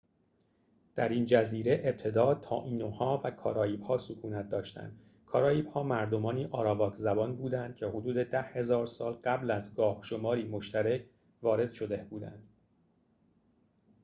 در این جزیره ابتدا تائینوها و کاریب‌ها سکونت داشتند کاریب‌ها مردمانی آراواک زبان بودند که حدود ۱۰,۰۰۰ سال قبل از گاه‌شماری مشترک وارد شده بودند